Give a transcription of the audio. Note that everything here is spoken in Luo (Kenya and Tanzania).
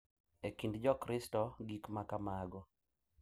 E kind Jokristo, gik ma kamago .